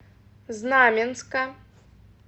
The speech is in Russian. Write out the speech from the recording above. знаменска